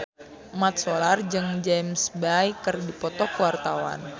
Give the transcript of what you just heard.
Mat Solar jeung James Bay keur dipoto ku wartawan